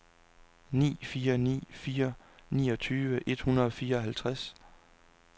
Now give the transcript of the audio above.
ni fire ni fire niogtyve et hundrede og fireoghalvtreds